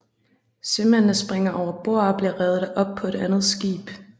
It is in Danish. Sømændene springer overbord og bliver reddet op på et andet skib